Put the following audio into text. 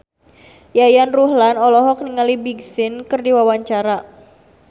Yayan Ruhlan olohok ningali Big Sean keur diwawancara